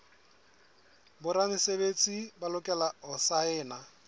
boramesebetsi ba lokela ho saena